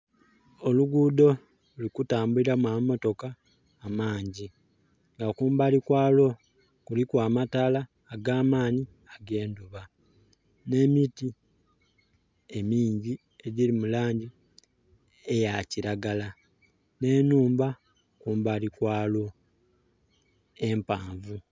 Olugudho luli kutambuliramu amamotooka amangi nga kumbali kwa lwo kuliku amataala agamanhi ge ndhuba ne miti emiingi edhiri mu langi eya kilagala ne nhumba kumbali kwalwo empanvu.